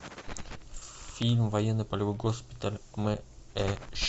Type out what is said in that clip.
фильм военно полевой госпиталь мэш